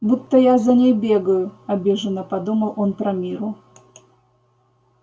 будто я за ней бегаю обиженно подумал он про мирру